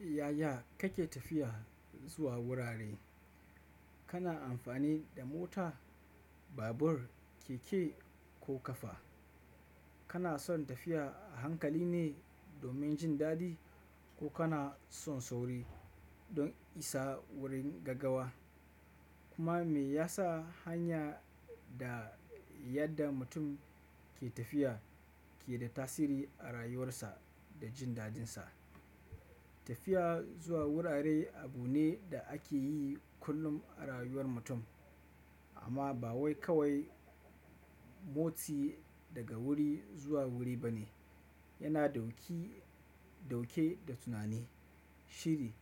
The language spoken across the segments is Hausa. Yaya kake tafiya zuwa wurare? Kana amfani da mota, babur, keke ko ƙafa? Kana son tafiya a hankali ne domin jin daɗi ko kana son sauri don isa wurin gaggawa? Kuma me yasa hanya da yadda mutum ke tafiya ke da tasiri a rayuwarsa da jin daɗinsa? Tafiya zuwa wurare abu ne da ake yi kullum a rayuwar mutum, amma ba wai kawai motsi daga wuri zuwa wuri ba ne. Yana dauki, dauke da tunani, shiri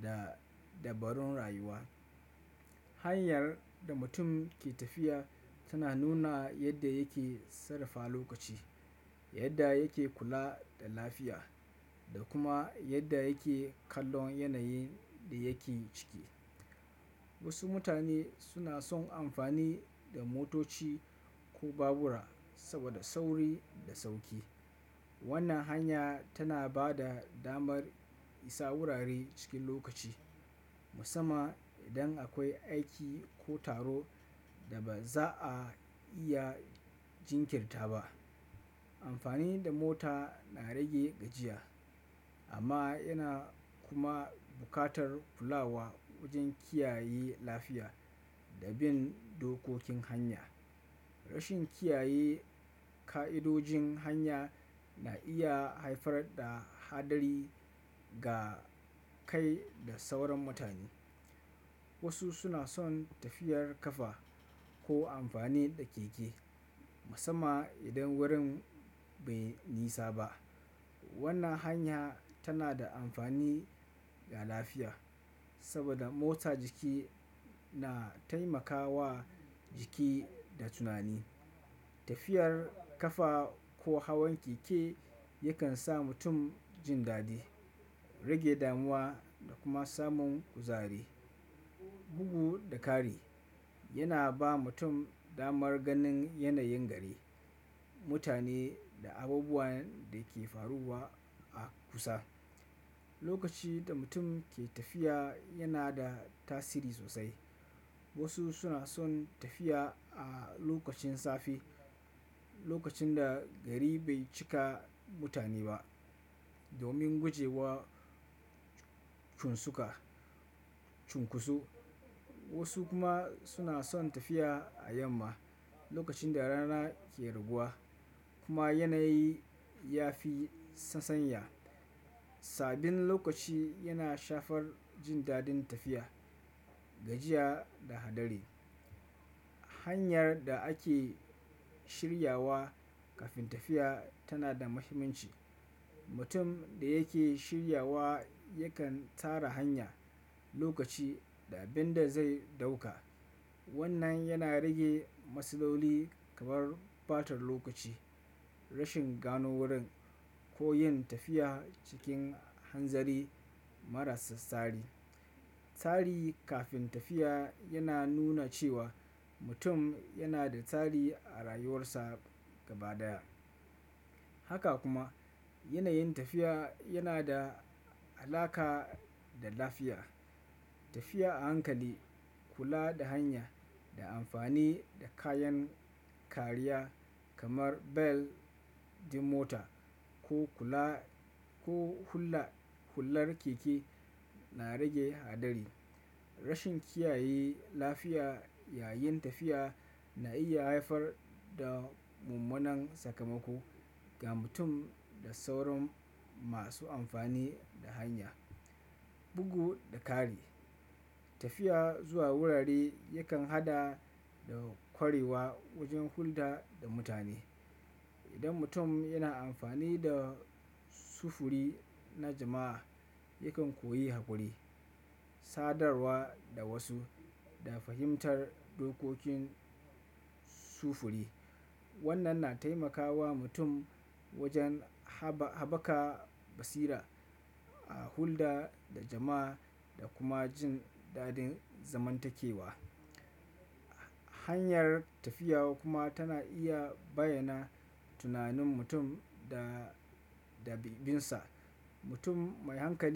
da dabarun rayuwa. Hanyar da mutum ke tafiya tana nuna yadda yake sarrafa lokaci, yadda yake kula da lafiya da kuma yadda yake kallon yanayin da yake ciki. Wasu mutane suna son amfani da motoci ko babura saboda sauri da sauki. Wannan hanya tana ba da damar isa wurare cikin lokaci, musamman idan akwai aiki ko taro da ba za a iya jinkirta ba. Amfani da mota na rage gajiya amma yana kuma buƙatar kula wa wajen kiyaye lafiya da bin dokokin hanya. Rashin kiyaye ƙa'idojin hanya na iya haifar da haɗari ga kai da sauran mutane. Wasu suna son tafiyar ƙafa ko amfani da keke, musamman idan wurin bai nisa ba. Wannan hanya tana da amfani ga lafiya saboda motsa jiki na taimakawa jiki da tunani. Tafiyar ƙafa ko hawan keke yakan sa mutum jin daɗi, rage damuwa da kuma samun kuzari. Bugu da ƙari, yana ba mutum damar ganin yanayin gari, mutane da abubuwan da ke faruwa a kusa. Lokaci da mutum ke tafiya yana da tasiri sosai. Wasu suna son tafiya a lokacin safe, lokacin da gari bai cika mutane ba domin gujewa cunsuka, cunkusu. Wasu kuma suna son tafiya a yamma lokacin da rana ke raguwa kuma yanayi ya fi sasanya. Sabin lokaci yana shafar jin daɗin tafiya, gajiya da haɗari. Hanyar da ake shirya wa kafin tafiya tana da mahimmanci. Mutum da yake shirya wa yakan tara hanya, lokaci da abin da zai ɗauka. Wannan yana rage matsaloli kamar ɓatar lokaci, rashin gano wurin ko yin tafiya cikin hanzari maras tsari. Tsari kafin tafiya yana nuna cewa mutum yana da tsari a rayuwarsa gaba ɗaya. Haka kuma yanayin tafiya yana da alaka da lafiya. Tafiya a hankali, kula da hanya da amfani da kayan kariya kamar bel din mota ko kula, ko hulla, hullar keke na rage haɗari. Rashin kiyaye lafiya yayin tafiya na iya haifar da mummunan sakamako ga mutum da sauran masu amfani da hanya. Bugu da ƙari, tafiya zuwa wurare yakan haɗa da ƙwarewa wajen hulɗa da mutane. Idan mutum yana amfani da sufuri na jama'a, yakan koyi haƙuri, sadarwa da wasu da fahimtar dokokin sufuri. Wannan na taimakawa mutum wajen haba, haɓaka basira a hulɗa da jama'a da kuma jin daɗin zamantakewa. Hanyar tafiya kuma tana iya bayyana tunanin mutum da, da bibinsa. Mutum mai hankali.